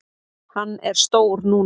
Hann er stór núna.